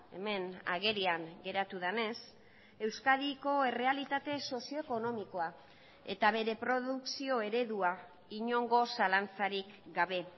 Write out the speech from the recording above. hemen agerian geratu denez euskadiko errealitate sozioekonomikoa eta bere produkzio eredua inongo zalantzarik gabe